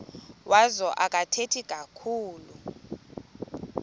wazo akathethi kakhulu